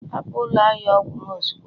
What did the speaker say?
hapụ ụlọ ahịa ọgwụ m ozugbo